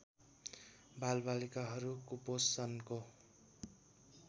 बालबालिकाहरू कुपोषणको